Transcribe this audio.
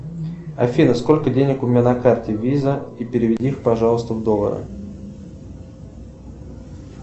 афина сколько денег у меня на карте виза и переведи их пожалуйста в доллары